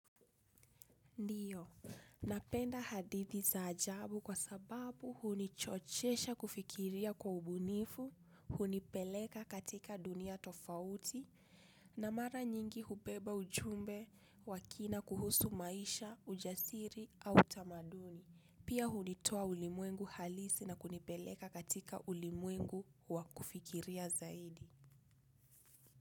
Ndiyo, napenda hadithi za ajabu kwa sababu hunichochesha kufikiria kwa ubunifu, hunipeleka katika dunia tofauti, na mara nyingi hubeba ujumbe wa kina kuhusu maisha, ujasiri au tamaduni. Pia hunitoa ulimwengu halisi na kunipeleka katika ulimwengu wa kufikiria zaidi.